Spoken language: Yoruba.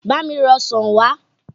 Bá mi ra ọsàn wà!